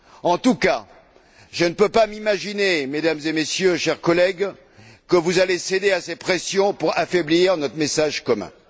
En tout cas, je ne peux pas m'imaginer, Mesdames et Messieurs, chers collègues, que vous cédiez à ces pressions pour affaiblir notre message commun.